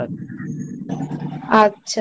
আচ্ছা